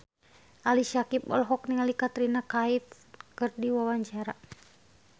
Ali Syakieb olohok ningali Katrina Kaif keur diwawancara